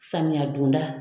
Samiya donda.